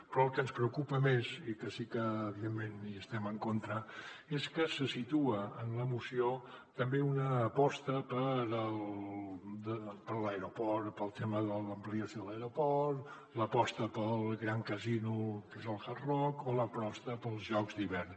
però el que ens preocupa més i que sí que evidentment hi estem en contra és que se situa en la moció també una aposta per l’aeroport pel tema de l’ampliació de l’aeroport l’aposta pel gran casino que és el hard rock o l’aposta pels jocs d’hivern